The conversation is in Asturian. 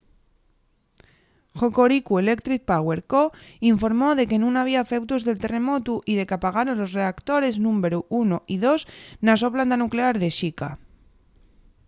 hokoriku electric power co. informó de que nun había efeutos del terremotu y de qu’apagaron los reactores númberu 1 y 2 na so planta nuclear de shika